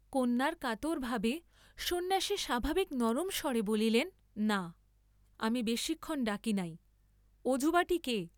কন্যার কাতর ভাবে সন্ন্যাসী স্বাভাবিক নরম স্বরে বলিলেন না, আমি বেশীক্ষণ ডাকি নাই; ও যুবাটি কে?